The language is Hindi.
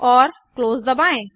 और क्लोज दबाएँ